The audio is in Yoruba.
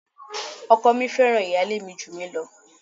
Ọkọ mi fẹ́ràn ìyálé mi jù mí lọ.